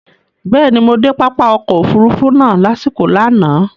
Bẹ́ẹ̀ni, mo de pápá ọkọ̀ òfurufú náà lasiko lánàá